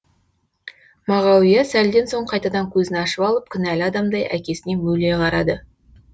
мағауия сәлден соң қайтадан көзін ашып алып кінәлі адамдай әкесіне мөлие қарады